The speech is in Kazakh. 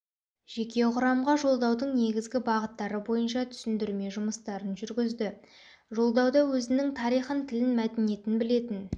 жеке құрамға жолдаудың негізгі бағыттары бойынша түсіндірме жұмыстарын жүргізді жолдауда өзінің тарихын тілін мәдениетін білетін